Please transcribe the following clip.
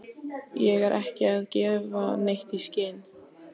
Ég er ekki að gefa neitt í skyn.